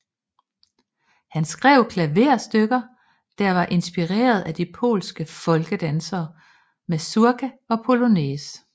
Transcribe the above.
Han skrev klaverstykker der var inspireret af de polske folkedanse mazurka og polonæse